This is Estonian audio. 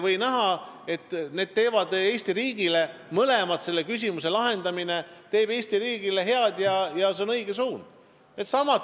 Miks ei või mõlemad ühel hetkel näha, et mõne küsimuse lahendamine teeb Eesti riigile head ja see on õige suund?